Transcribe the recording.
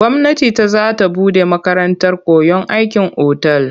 Gwamnati ta za ta buɗe makarantar koyon aikin otal.